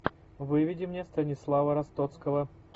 выведи мне станислава ростоцкого